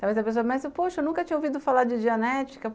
Talvez a pessoa pense, poxa, eu nunca tinha ouvido falar dianética.